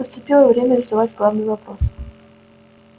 наступило время задать главный вопрос